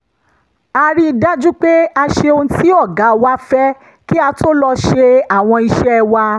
a rí i dájú pé a ṣe ohun tí ọ̀gá wa fẹ́ kí a tó lọ ṣe àwọn iṣẹ́ wa